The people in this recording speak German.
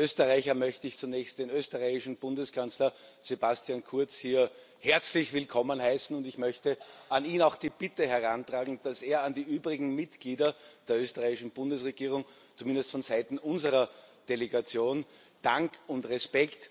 Als Österreicher möchte ich zunächst den österreichischen Bundeskanzler Sebastian Kurz hier herzlich willkommen heißen, und ich möchte an ihn auch die Bitte herantragen, dass er Dank und Respekt an die übrigen Mitglieder der österreichischen Bundesregierung, zumindest vonseiten unserer Delegation,